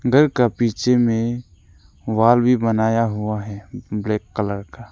घर का पीछे में वॉल भी बनाया हुआ है ब्लैक कलर का।